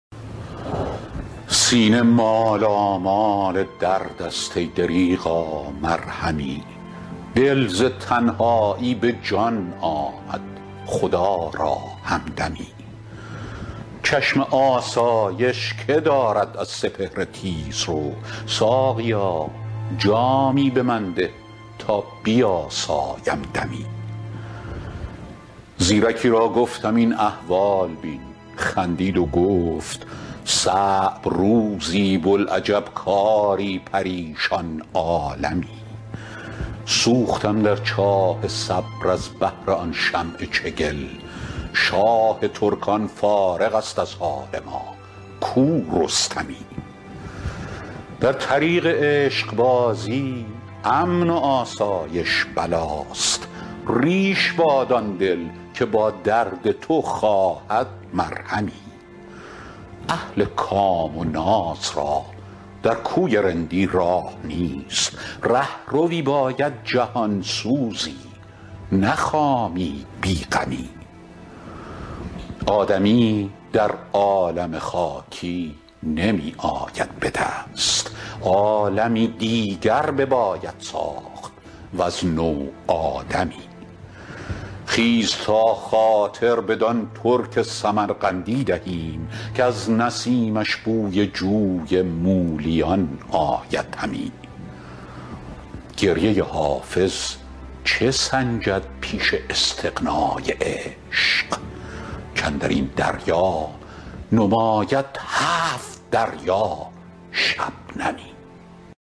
سینه مالامال درد است ای دریغا مرهمی دل ز تنهایی به جان آمد خدا را همدمی چشم آسایش که دارد از سپهر تیزرو ساقیا جامی به من ده تا بیاسایم دمی زیرکی را گفتم این احوال بین خندید و گفت صعب روزی بوالعجب کاری پریشان عالمی سوختم در چاه صبر از بهر آن شمع چگل شاه ترکان فارغ است از حال ما کو رستمی در طریق عشق بازی امن و آسایش بلاست ریش باد آن دل که با درد تو خواهد مرهمی اهل کام و ناز را در کوی رندی راه نیست رهروی باید جهان سوزی نه خامی بی غمی آدمی در عالم خاکی نمی آید به دست عالمی دیگر بباید ساخت وز نو آدمی خیز تا خاطر بدان ترک سمرقندی دهیم کز نسیمش بوی جوی مولیان آید همی گریه حافظ چه سنجد پیش استغنای عشق کاندر این دریا نماید هفت دریا شبنمی